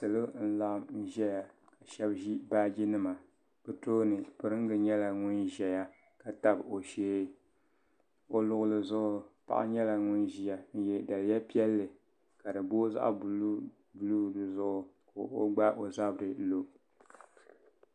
Salo n laɣim ʒɛya ka sheba ʒi baaji nima bɛ tooni piringa nyɛla ŋun ʒɛya ka tabi o shee o luɣuli zuɣu paɣa nyɛla ŋun ʒia n ye daliya piɛlli ka di booi zaɣa buluu buluu di zuɣu ka o gbaagi o zabri lo.